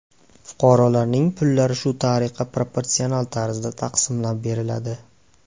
Fuqarolarning pullari shu tariqa proporsional tarzda taqsimlab beriladi.